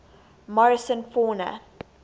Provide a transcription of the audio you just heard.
morrison fauna